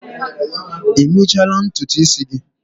Ị mechala ntutu isi gị?